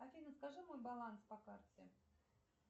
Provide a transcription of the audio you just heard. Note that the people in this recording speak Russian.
афина скажи мой баланс по карте